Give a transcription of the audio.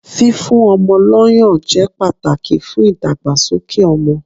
Fífún ọmọ lọ́ yàn jẹ́ pàtàkì fún ìdàgbàsókè ọmọ.